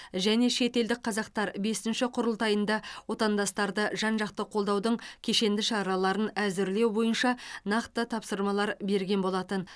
және шетелдік қазақтар бесінші құрылтайында отандастарды жан жақты қолдаудың кешенді шараларын әзірлеу бойынша нақты тапсырмалар берген болатын